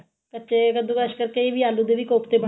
ਕੱਚੇ ਕੱਦੂਕਸ਼ ਕਰਕੇ ਕਈ ਆਲੂ ਦੇ ਵੀ ਕੋਫਤੇ